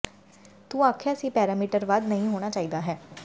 ਤੂੰ ਆਖਿਆ ਸੀ ਪੈਰਾਮੀਟਰ ਵੱਧ ਨਹੀ ਹੋਣਾ ਚਾਹੀਦਾ ਹੈ